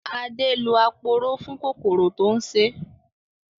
Adé lò aporó fún kòkòrò tó ń ṣé